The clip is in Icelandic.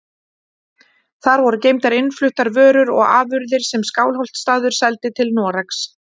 Þar voru geymdar innfluttar vörur og afurðir sem Skálholtsstaður seldi til Noregs.